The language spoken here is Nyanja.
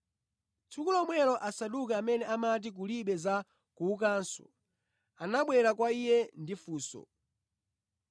Tsiku lomwelo Asaduki amene amati kulibe za kuukanso, anabwera kwa Iye ndi funso.